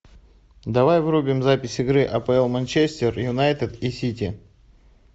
давай врубим запись игры апл манчестер юнайтед и сити